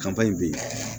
Kan in bɛ